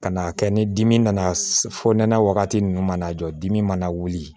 Ka n'a kɛ ni dimi nana fɔ nɛnɛ wagati ninnu mana jɔ dimi mana wuli